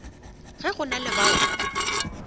ge go na le bao